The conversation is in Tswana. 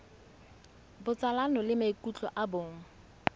botsalano le maikutlo a bong